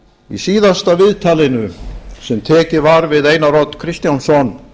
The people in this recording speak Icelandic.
í síðasta viðtalinu sem tekið var við einar odd kristjánsson